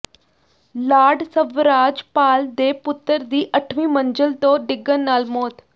Lord Swraj Paul ਦੇ ਪੁੱਤਰ ਦੀ ਅੱਠਵੀਂ ਮੰਜ਼ਿਲ ਤੋਂ ਡਿੱਗਣ ਨਾਲ ਮੌਤ